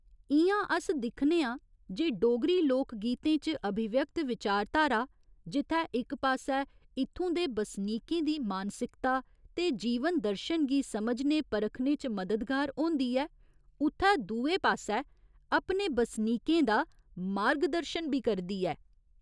इ'यां अस दिक्खने आं जे डोगरी लोक गीतें च अभिव्यक्त विचारधारा जित्थै इक पास्सै इत्थुं दे बसनीकें दी मानसिकता ते जीवन दर्शन गी समझने परखने च मददगार होंदी ऐ उत्थै दुए पास्सै अपने बसनीकें दा मार्ग दर्शन बी करदी ऐ।